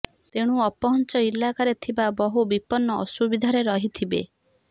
ତେଣୁ ଅପହଞ୍ଚ ଇଲାକାରେ ଥିବା ବହୁ ବିପନ୍ନ ଅସୁବିଧାରେ ରହିଥିବେ